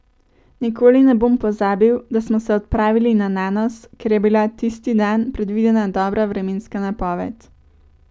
Nikoli ne bom pozabil, da smo se odpravili na Nanos, ker je bila tisti dan predvidena dobra vremenska napoved.